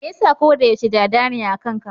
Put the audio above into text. Me yasa koda yaushe Dada ne akan ka?